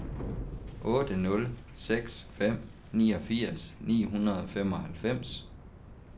otte nul seks fem niogfirs ni hundrede og femoghalvfems